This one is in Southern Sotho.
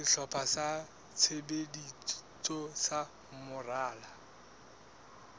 sehlopha sa tshebetso sa moralo